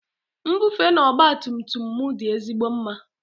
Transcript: Nbufe na ọgba tum tum m dị ezigbo mma.